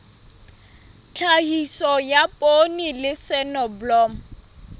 tlhahiso ya poone le soneblomo